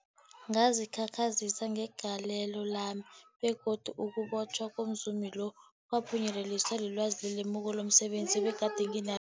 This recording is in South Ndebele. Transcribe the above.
Ngazikhakhazisa ngegalelo lami, begodu ukubotjhwa komzumi lo kwaphunyeleliswa lilwazi nelemuko lomse benzi ebegade nginal